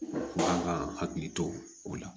Kan ka hakili to o la